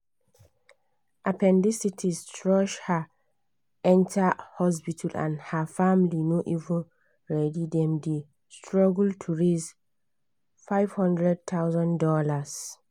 appendicitis rush her enter hospital and her family no even ready dem dey struggle to raise fifty thousand dollars